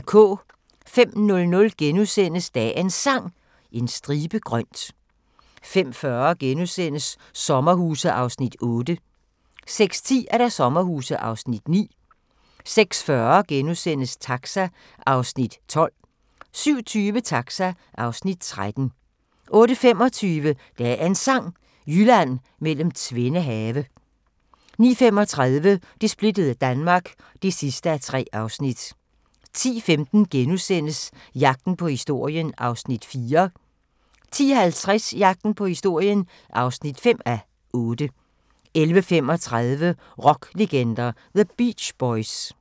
05:00: Dagens Sang: En stribe grønt * 05:40: Sommerhuse (8:10)* 06:10: Sommerhuse (9:10) 06:40: Taxa (12:56)* 07:20: Taxa (13:56) 08:25: Dagens Sang: Jylland mellem tvende have 09:35: Det splittede Danmark (3:3) 10:15: Jagten på historien (4:8)* 10:50: Jagten på historien (5:8) 11:35: Rocklegender – The Beach Boys